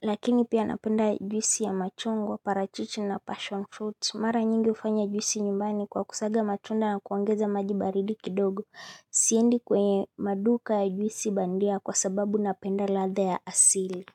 Lakini pia napenda juisi ya machungwa, parachichi na passion fruit mara nyingi hufanya juisi nyumbani kwa kusaga matunda na kuongeza maji baridi kidogo siendi kwenye maduka ya juisi bandia kwa sababu napenda ladha ya asili.